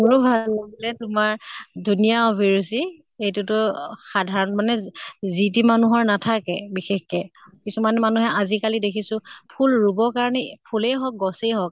মোৰো ভাল লাগিলে তোমাৰ ধুনীয়া অভিৰুচি। এইটো তো অহ সাধাৰণ মানে যি তি মানুহৰ নাথাকে বিশেষকে। কিছুমান মানুহে আজি কালি দেখিছো ফুল ৰোবৰ কাৰণে, ফুলেই হৌক গছেই হৌক